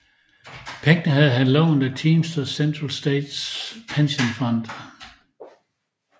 Pengene havde han lånt af Teamsters Central States Pension Fund